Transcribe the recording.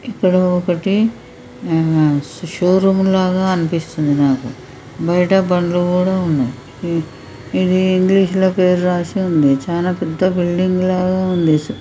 ఇక్కడ ఒకటి ఆ షోరూమ్ లాగా అనిపిస్తుంది నాకు. బయట బండ్లు కూడా ఉన్నయ్. ఇదీ ఇంగ్లీషు ల పేరు రాసి ఉంది. చానా పెద్ద బిల్డింగ్ లాగా ఉంది.